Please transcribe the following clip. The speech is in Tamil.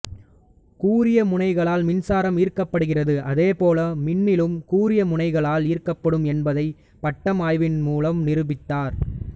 கூரிய முனைகளால் மின்சாரம் ஈர்க்கப்படுகிறது அதேபோல் மின்னலும் கூரிய முனைகளால் ஈர்க்கப்படும் என்பதை பட்டம் ஆய்வின் மூலம் நிரூபித்தார்